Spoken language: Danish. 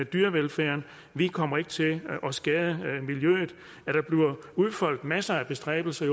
dyrevelfærd vi kommer ikke til at skade miljøet at der bliver udfoldet masser af bestræbelser